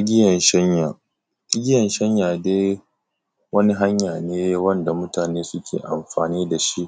Igiyan shanya, igiyan shanya dai, wani hanya ne wanda mutane suke amfani da shi,